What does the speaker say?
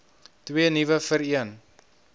twee nuwe vereen